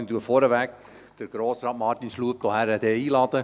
Ich lade vorweg Grossrat Martin Schlup ein.